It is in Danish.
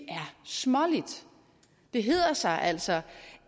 småligt det hedder sig altså